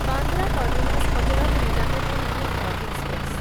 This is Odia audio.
Bandra terminus Hazrat Nizamuddin Yuva express